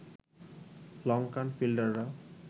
Lankan ফিল্ডাররা